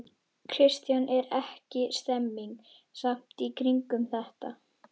Kristján: Er ekki stemning samt í kringum þetta?